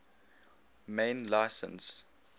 main license